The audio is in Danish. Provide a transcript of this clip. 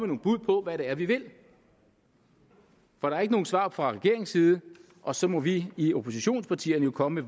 nogle bud på hvad det er vi vil for der er ikke nogen svar fra regeringens side og så må vi i oppositionspartierne jo komme